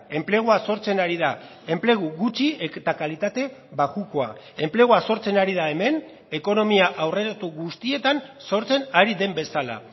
enplegua sortzen ari da enplegu gutxi eta kalitate bajukoa enplegua sortzen ari da hemen ekonomia aurreratu guztietan sortzen ari den bezala